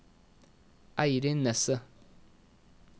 Eirin Nesset